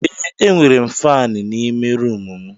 Ee, M nwere faani n'ime rumụ m.